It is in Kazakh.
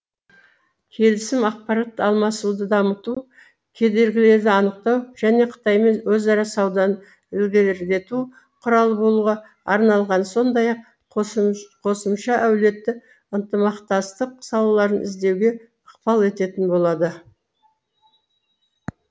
келісім ақпарат алмасуды дамыту кедергілерді анықтау және қытаймен өзара сауданы ілгерілету құралы болуға арналған сондай ақ қосымша әлеуетті ынтымақтастық салаларын іздеуге ықпал ететін болады